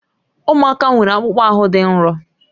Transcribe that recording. Ụmụaka nwere akpụkpọ ahụ dị nro